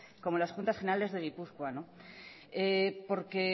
como en las juntas generales de gipuzkoa porque